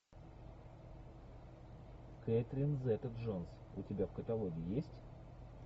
кэтрин зета джонс у тебя в каталоге есть